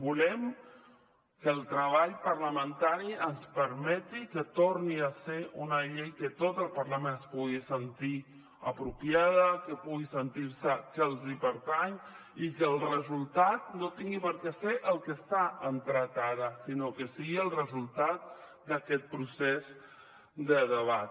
volem que el treball parlamentari ens permeti que torni a ser una llei que tot el parlament se la pugui sentir pròpia que puguin sentir se que els pertany i que el resultat no tingui per què ser el que està entrat ara sinó que sigui el resultat d’aquest procés de debat